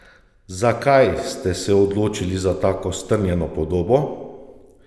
Zakaj ste se odločili za tako strnjeno podobo?